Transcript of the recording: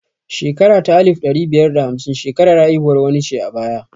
Shekara ta alif ɗari biyar da hamsin shekarar haihuwar wani ce a baya